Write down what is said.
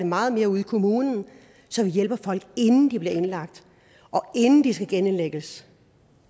meget mere ud i kommunen så vi hjælper folk inden de bliver indlagt og inden de skal genindlægges